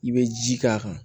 I bɛ ji k'a kan